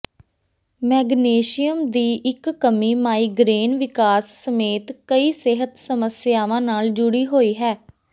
magnesium ਦੀ ਇੱਕ ਕਮੀ ਮਾਈਗਰੇਨ ਵਿਕਾਸ ਸਮੇਤ ਕਈ ਸਿਹਤ ਸਮੱਸਿਆਵਾਂ ਨਾਲ ਜੁੜੀ ਹੋਈ ਹੈ